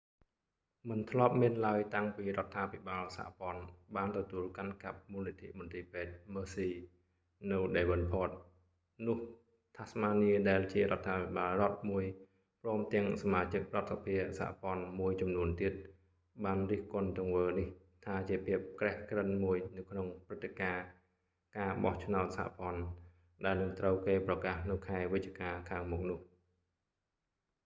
មិនធ្លាប់មានឡើយតាំងពីរដ្ឋាភិបាលសហព័ន្ធបានទទួលកាន់កាប់មូលនិធិមន្ទីរពេទ្យ mersey នៅ devonport នោះ tasmania ដែលជារដ្ឋាភិបាលរដ្ឋមួយព្រមទាំងសមាជិករដ្ឋសភាសហព័ន្ធមួយចំនួនទៀតបានរិះគន់ទង្វើនេះថាជាភាពក្រេះក្រិនមួយនៅក្នុងព្រឹត្តិការណ៍ការបោះឆ្នោតសហព័ន្ធដែលនឹងត្រូវគេប្រកាសនៅខែវិច្ឆិការខាងមុខនោះ